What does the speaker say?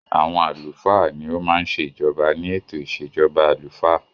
Àwọn àlùfáà ní o má ń ṣe ìjoba ní ètò ìṣèjọba àlùfáà.